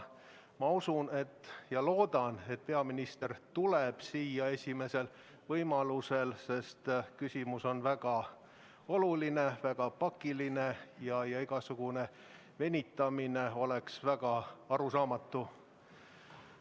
Ma usun ja loodan, et peaminister tuleb siia esimesel võimalusel, sest küsimus on väga oluline, väga pakiline ja igasugune venitamine oleks väga arusaamatu.